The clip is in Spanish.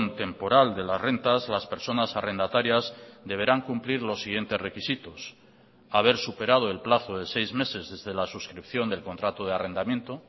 temporal de las rentas las personas arrendatarias deberán cumplir los siguientes requisitos haber superado el plazo de seis meses desde la suscripción del contrato de arrendamiento